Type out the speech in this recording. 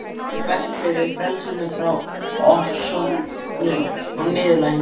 Ég berst fyrir frelsi frá ofsóknum og niðurlægingu.